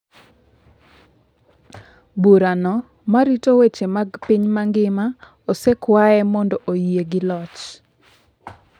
Burano ma rito weche mag piny mangima osekwaye mondo oyie gi loch.